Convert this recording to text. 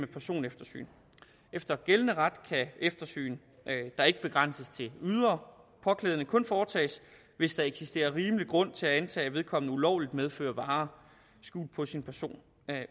personeftersyn efter gældende ret kan eftersyn der ikke begrænses til ydre påklædning kun foretages hvis der eksisterer rimelig grund til at antage at vedkommende ulovligt medfører varer skjult på sin person